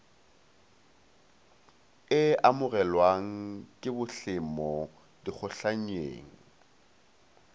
e amogelwang ke bohlemo dikgotlhannyeng